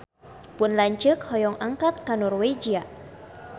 Pun lanceuk hoyong angkat ka Norwegia